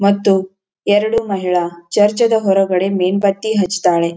ಮತ್ತು ಎರಡು ಮಹಿಳಾ ಚರ್ಚ್ ಅದ ಹೊರಗಡೆ ಮೇಣಬತ್ತಿ ಹಚ್ಚತಾಳೆ.